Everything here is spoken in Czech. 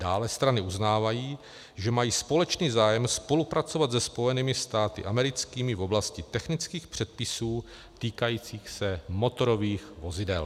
Dále strany uznávají, že mají společný zájem spolupracovat se Spojenými státy americkými v oblasti technických předpisů týkajících se motorových vozidel.